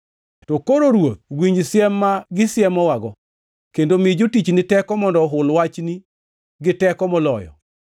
To koro Ruoth, winj siem ma gisiemowago, kendo mi jotichni teko mondo ohul wachni gi teko moloyo.